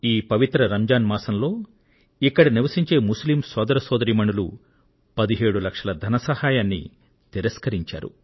ఈ పవిత్ర రంజాన్ మాసంలో ఇక్కడ నివసించే ముస్లిం సోదర సోదరీమణులు 17 లక్షల ధన సహాయాన్ని తిరస్కరించారు